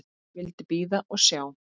Vildi bíða og sjá.